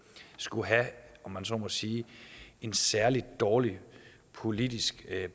skulle have om man så må sige en særlig dårlig politisk